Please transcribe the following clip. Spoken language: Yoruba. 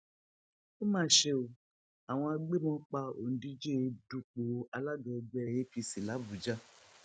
ó mà ṣe o àwọn agbébọn pa òǹdíje dupò alága ẹgbẹ apc làbójà